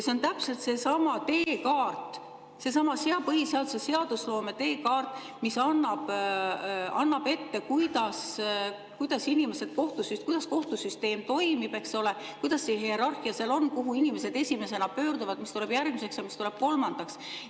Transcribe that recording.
See on täpselt seesama teekaart, seesama põhiseadus, seadusloome teekaart, mis annab ette, kuidas kohtusüsteem toimib, eks ole, kuidas see hierarhia seal on, kuhu inimesed esimesena pöörduvad, mis tuleb järgmiseks ja mis tuleb kolmandaks.